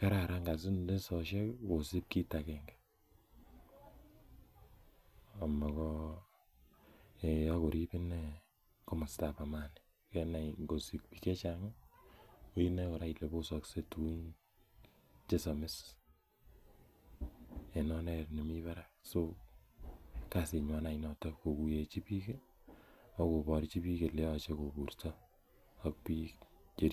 kararan kanisoshek kosup kiit agenge akorip ine komasta ap amani kenai ngosup piik che chang' inae ile posakse tugun che samis en oret nemi parak. So, kasinwan any notok kokuyechi piik ak koparchi kole yache kopurya ak piik komye.